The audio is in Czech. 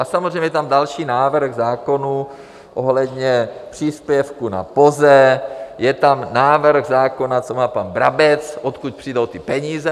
A samozřejmě je tam další návrh zákonů ohledně příspěvku na POZE, je tam návrh zákona, co má pan Brabec, odkud přijdou ty peníze.